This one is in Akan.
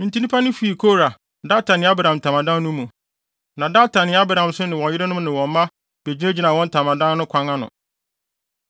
Enti nnipa no fii Kora, Datan ne Abiram ntamadan no mu. Na Datan ne Abiram nso ne wɔn yerenom ne wɔn mma begyinagyinaa wɔn ntamadan no akwan ano.